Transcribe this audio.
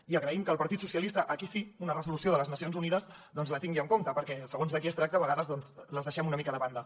i agraïm que el partit socialistes aquí sí una resolució de les na cions unides doncs la tingui en compte perquè segons de qui es tracta a vegades les deixem una mica de banda